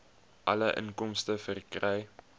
alle inkomste verkry